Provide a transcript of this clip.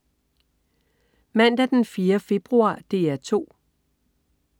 Mandag den 4. februar - DR 2: